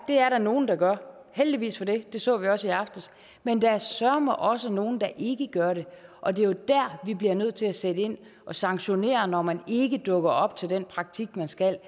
det er der nogle der gør heldigvis for det det så vi også i aftes men der er søreme også nogle der ikke gør det og det er jo der vi bliver nødt til at sætte ind og sanktionere når man for ikke dukker op til den praktik man skal